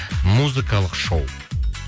музыкалық шоу